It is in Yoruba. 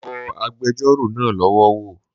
Mo bọ agbẹjọ́rò náà lọ wọ̀